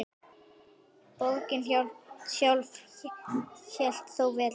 Borgin sjálf hélt þó velli.